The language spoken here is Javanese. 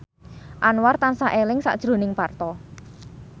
Anwar tansah eling sakjroning Parto